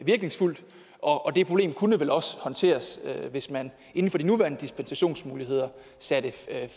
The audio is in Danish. virkningsfuldt og det problem kunne vel også håndteres hvis man inden for de nuværende dispensationsmuligheder satte